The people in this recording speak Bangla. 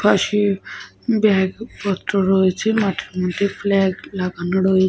একটা মাঠ দেখা যাচ্ছে। মাঠের মধ্যে স্পোর্টস হচ্ছে যেখানে একটা ছেলে --